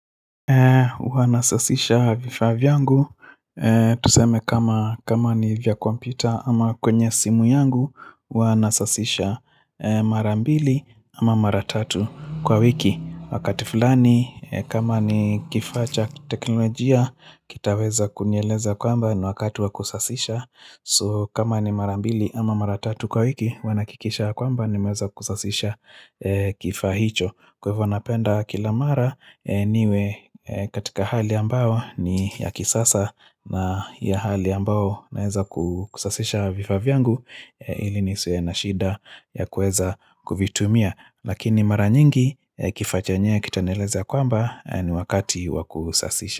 Huwa nasasisha vifaa vyangu, tuseme kama ni vya kompyuta ama kwenye simu yangu, huwa nasasisha mara mbili ama mara tatu kwa wiki. Wakati fulani, kama ni kifaa cha teknolojia, kitaweza kunieleza kwamba ni wakati wa kusasisha. So, kama ni mara mbili ama mara tatu kwa wiki, huwa nahakikisha kwamba nimeweza kusasisha kifaa hicho. Kwa ivo napenda kila mara niwe katika hali ambao ni ya kisasa na hali ambao naeza kusasisha vifaa vyangu ili nisiwe na shida ya kueza kuvitumia. Lakini mara nyingi kifaa chenyewe kitanieleza ya kwamba ni wakati wa kusasisha.